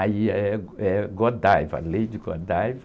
Aí eh, é, Lady Godiva.